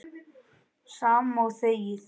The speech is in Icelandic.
Sama og þegið.